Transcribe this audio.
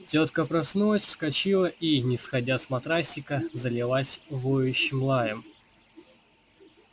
тётка проснулась вскочила и не сходя с матрасика залилась воющим лаем